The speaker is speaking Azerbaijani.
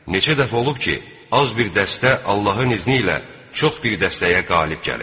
Neçə dəfə olub ki, az bir dəstə Allahın izni ilə çox bir dəstəyə qalib gəlib.